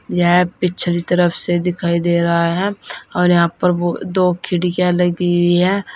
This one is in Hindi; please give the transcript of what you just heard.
यह पिछली तरफ से दिखाई दे रहा है और यहां पर ब दो खिड़कियां लगी हुई हैं।